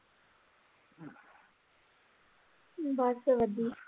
ਬਸ ਵਧੀਆ।